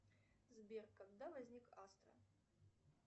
сбер когда возник астра